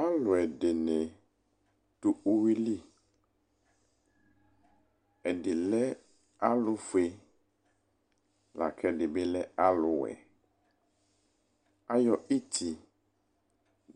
Aluediɲi du ʊwili Ɛdi lɛ alʊƒʊe, la kɛ ɛdibi lɛ alʊwɛ Aƴɔ iti